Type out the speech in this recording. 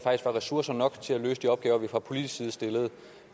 var ressourcer nok til at løse de opgaver vi fra politisk side stiller